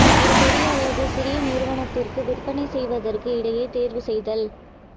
ஒரு பெரிய அல்லது சிறிய நிறுவனத்திற்கு விற்பனை செய்வதற்கு இடையே தேர்வு செய்தல்